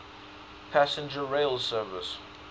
passenger rail service